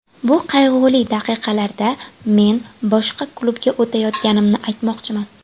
Bu qayg‘uli daqiqalarda men boshqa klubga o‘tayotganimni aytmoqchiman.